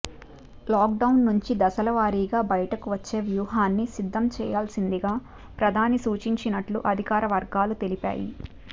lockdown నుంచి దశలవారీగా బయటకు వచ్చే వ్యూహాన్ని సిద్ధం చేయాల్సిందిగా ప్రధాని సూచించినట్లు అధికార వర్గాలు తెలిపాయి